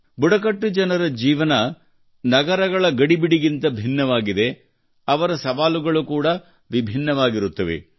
ಬುಡಕಟ್ಟು ಜನರ ಜೀವನವು ನಗರಗಳ ಗಡಿಬಿಡಿಗಿಂತ ಭಿನ್ನವಾಗಿದೆ ಅದರ ಸವಾಲುಗಳು ಕೂಡಾ ವಭಿನ್ನವಾಗಿರುತ್ತವೆ